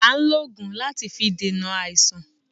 À n lògùn láti fi dènà àìsàn